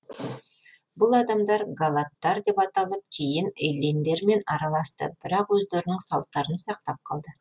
бұл адамдар галаттар деп аталып кейін эллиндермен араласты бірақ өздерінің салттарын сақтап қалды